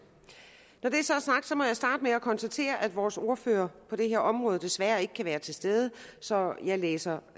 når det så er sagt må jeg starte med at konstatere at vores ordfører på det her område desværre ikke kan være til stede så jeg læser